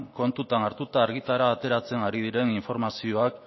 kontuan hartuta argitara ateratzen ari diren informazioa